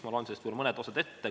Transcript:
Ma loen sellest mõned osad ette.